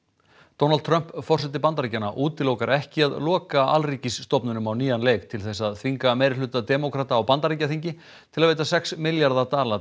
Donald Trump forseti Bandaríkjanna útilokar ekki að loka alríkisstofnunum á nýjan leik til þess að þvinga meirihluta demókrata á Bandaríkjaþingi til að veita sex milljarða dala